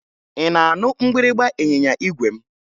Ị na-anụ mgbịrịmgba ịnyịnya igwe m?